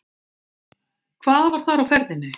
Hvað var þar á ferðinni?